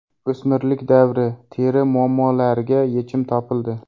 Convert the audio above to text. O‘smirlik davri teri muammolariga yechim topildi.